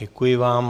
Děkuji vám.